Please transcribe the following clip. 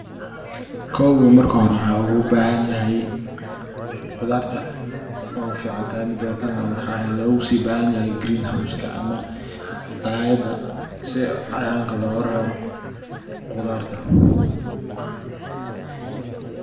Kow marka hore in qudarta oguficantahay marka greenhouse logabahanyahy oo dalayada sii cayayanka logarebo qudarta.